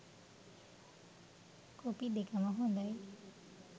Copy දෙකම හොඳයි.